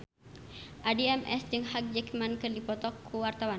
Addie MS jeung Hugh Jackman keur dipoto ku wartawan